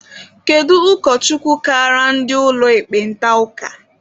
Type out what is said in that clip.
Kedu ụkọchukwu kaara ndị ụlọ ekpenta ụka?